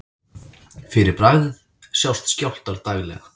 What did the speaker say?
Fyrir bragðið sjást skjálftar daglega.